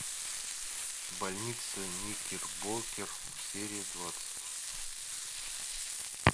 больница никербокер серия двадцать